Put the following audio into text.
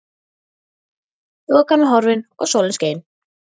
Þokan var horfin og sólin skein.